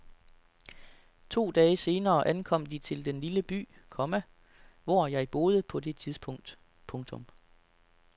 To dage senere ankom de til den lille by, komma hvor jeg boede på det tidspunkt. punktum